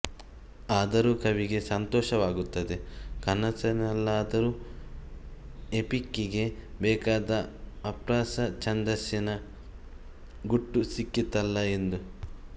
ಆದರೂ ಕವಿಗೆ ಸಂತೋಷವಾಗುತ್ತದೆ ಕನಸಿನಲ್ಲಾದರೂ ಎಪಿಕ್ಕಿಗೆ ಬೇಕಾದ ಅಪ್ರಾಸ ಛಂದಸ್ಸಿನ ಗುಟ್ಟು ಸಿಕ್ಕಿತಲ್ಲಾ ಎಂದು